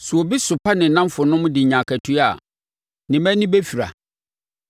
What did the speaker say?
Sɛ obi sopa ne nnamfonom de nya akatua a, ne mma ani bɛfira.